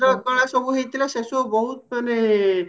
ଚିତ୍ର କଳା ସବୁ ହେଇଥିଲ ସେ ସବୁ ବୋହୁତ ମାନେ